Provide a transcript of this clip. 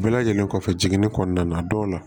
Bɛɛ lajɛlen kɔfɛ jiginni kɔnɔna na dɔw la